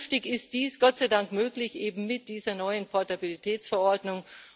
Künftig ist dies Gott sei Dank möglich, eben mit dieser neuen Portabilitätsverordnung.